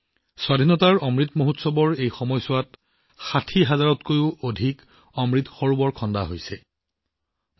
স্বাধীনতাৰ অমৃত মহোৎসৱৰ সময়ত নিৰ্মিত ৬০ হাজাৰৰো অধিক অমৃত সৰোবৰৰ উজ্জ্বলতাও বৃদ্ধি পাইছে